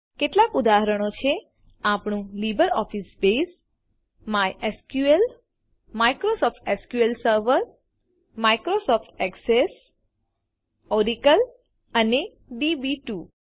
કેટલાક ઉદાહરણો છે આપણું LibreOffice Base MySQL Microsoft SQL Server Microsoft Access Oracle અને ડીબી2